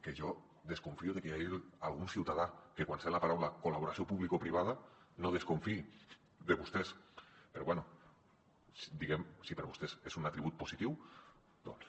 que jo desconfio que hi hagi algun ciutadà que quan sent la paraula col·laboració publicoprivada no desconfiï de vostès però bé si per a vostès és un atribut positiu doncs